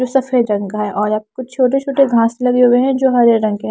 जो सफेद रंग का है और आप कुछ छोटे-छोटे घास लगे हुए हैं जो हरे रंग के--